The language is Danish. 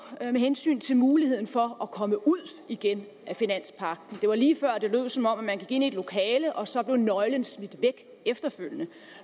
med hensyn til muligheden for at komme ud igen af finanspagten det var lige før det lød som om man gik ind i et lokale og så blev nøglen smidt væk efterfølgende